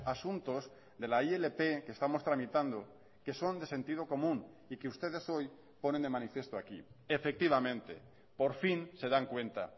asuntos de la ilp que estamos tramitando que son de sentido común y que ustedes hoy ponen de manifiesto aquí efectivamente por fin se dan cuenta